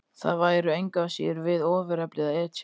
Það væri engu að síður við ofurefli að etja.